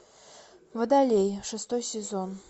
водолей шестой сезон